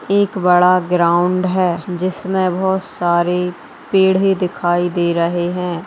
एक बड़ा ग्राउंड हैं जिसमे बहोत सारी पेड़े ही दिखाई दे रहे हैं।